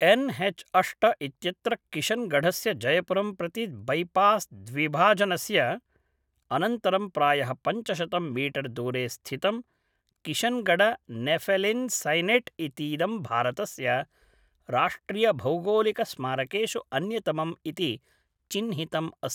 N H अष्ट इत्यत्र किशन्गढस्य जयपुरं प्रति बैपास् द्विभाजनस्य अनन्तरं प्रायः पञ्चशतं मीटर्दूरे स्थितं किशन्गढनेफेलिन्सैनैट् इतीदं भारतस्य राष्ट्रियभौगोलिकस्मारकेषु अन्यतमम् इति चिह्नितम् अस्ति